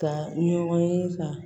Ka ɲɔgɔn ye ka